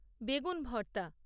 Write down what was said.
বেগুন ভর্তা